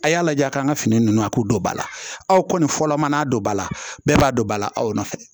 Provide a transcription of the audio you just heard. A y'a lajɛ a k'an ka fini ninnu a k'u don ba la aw kɔni fɔlɔ mana don ba la bɛɛ b'a don ba la aw nɔfɛ